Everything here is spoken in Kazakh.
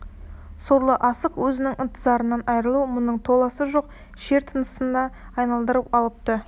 сорлы асық өзінің ынтызарынан айрылу мұңын толасы жоқ шер тынысына айналдырып алыпты